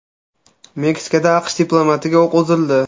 Meksikada AQSh diplomatiga o‘q uzildi.